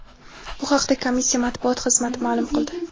Bu haqda komissiya matbuot xizmati ma’lum qildi .